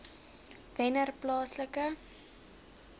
wennerplaaslike